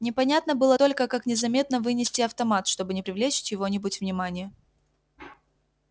непонятно было только как незаметно вынести автомат чтобы не привлечь чьего-нибудь внимания